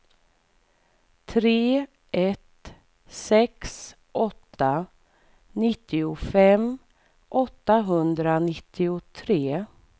tre ett sex åtta nittiofem åttahundranittiotre